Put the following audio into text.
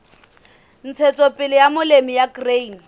ntshetsopele ya molemi wa grain